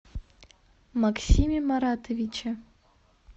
максиме маратовиче